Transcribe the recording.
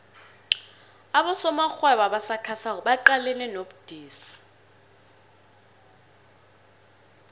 abosomarhwebo abasakhasako baqalene nobudisi